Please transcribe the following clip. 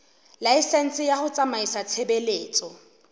laesense ya ho tsamaisa tshebeletso